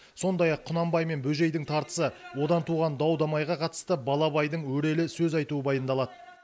сондай ақ құнанбай мен бөжейдің тартысы одан туған дау дамайға қатысты бала абайдың өрелі сөз айтуы баяндалады